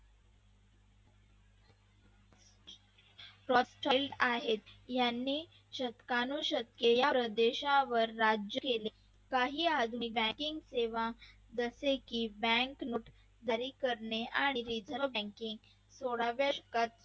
आहेत यांनी शतकांशतके या प्रदेशावर राज्य केले. काही आदमी banking सेवा जसं की bank note जारी करणे आणि reserve bank सोळाव्या शतकात सुरू